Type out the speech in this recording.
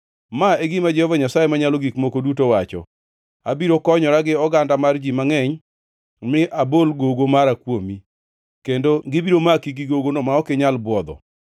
“ ‘Ma e gima Jehova Nyasaye Manyalo Gik Moko Duto wacho: “ ‘Abiro konyora gi oganda mar ji mangʼeny, mi abol gogo mara kuomi, kendo gibiro maki gi gogono ma ok inyal bwodho.